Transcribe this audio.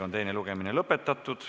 Teine lugemine lõpetatud.